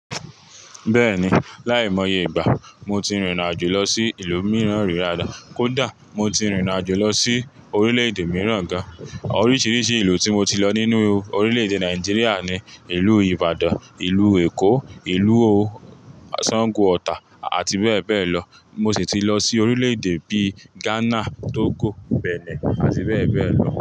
Bẹ́ẹ̀ni, láìmọye ìgbà mo ti rìnrìn àjò lọ sí ìlú mìíràn rí daadá. Kódà mo ti rìnrìn àjò lọ sí orílè-èdè mìíràn gan. Oríṣiríṣi ìlú tí mo ti lọ nínú orílè-èdè Nàìjíríà ni ìlú Ìbàdàn, ìlú Èkó, ìlú sàngo Ọ̀tà àti bẹ́ẹ̀ bẹ́ẹ̀ lọ. Mo sì ti lọ sí orílè-èdè bí i Ghana, Togo, Benin àti bẹ́ẹ̀ bẹ́ẹ̀ lọ.